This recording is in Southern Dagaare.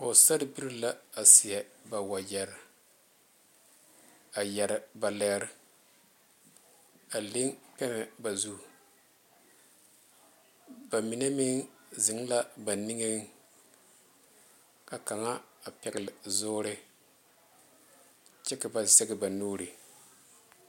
Pɔgesera bilee la a seɛ ba wagyere a yeere ba lɛɛre a leŋ pɛmɛ ba zu ba mine meŋ zeŋ la ba niŋe ka kaŋa a pegle zuure kyɛ ka ba zaŋ ba nuure.